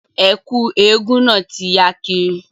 Ẹ̀kú eégún náà ti ya kiri